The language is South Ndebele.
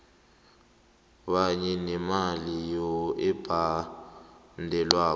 kanye nemali ebhadelwako